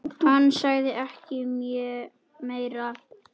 Hann sagði ekki meira.